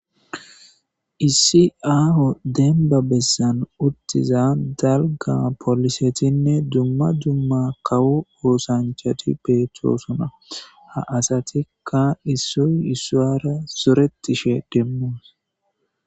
Issi aaho denba bessan uttiza dalga polisetinne dumma dumma kawu oosanchati beetthoosona ha asatikka issoy ussuwara soretishe demmos